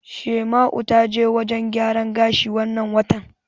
Shaima'u ta je wajen gyaran gashi wannan watan.